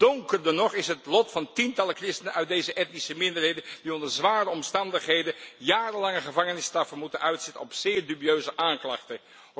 Donkerder nog is het lot van tientallen christenen uit deze etnische minderheden, die onder zware omstandigheden jarenlange gevangenisstraffen moeten uitzitten op grond van zeer dubieuze aanklachten.